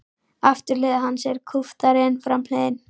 Afturhlið hans er kúptari en framhliðin.